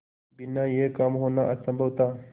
बिना यह काम होना असम्भव था